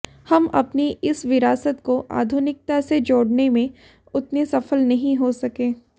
हम अपनी इस विरासत को आधुनिकता से जोड़ने में उतने सफल नहीं हो सके